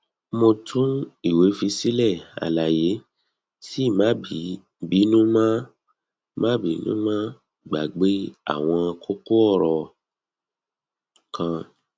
mo tun iwe fi sile alaye sii ma binu mo ma binu mo gbagbe awon koko oro kan